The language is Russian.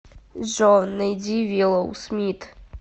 джой найди виллоу смит